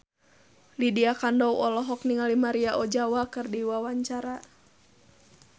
Lydia Kandou olohok ningali Maria Ozawa keur diwawancara